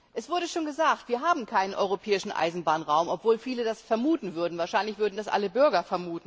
Es wurde schon gesagt Wir haben keinen europäischen Eisenbahnraum, obwohl viele das vermuten, wahrscheinlich vermuten das alle Bürger.